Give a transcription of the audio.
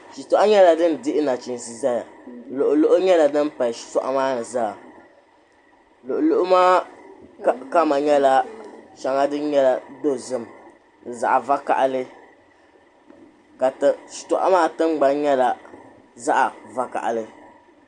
Shituɣu nyɛla din dihi nachiinsi zaya luɣuluɣu din pali shituɣu maa zaa luɣuluɣu maa kama nyɛla dozim zaɣvokaɣili ka shituɣu maa tiŋgbani nyɛla zaɣvokaɣili.